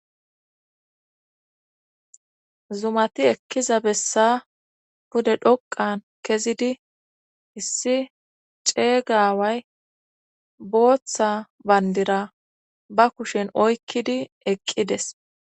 Zumati ekkiza bessa pude dhoqan kezidi issi ceeygaaway booththa bandira ba kushen oykkidi eqqides.